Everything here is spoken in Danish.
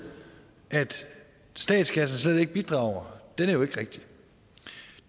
at statskassen slet ikke bidrager er jo ikke rigtig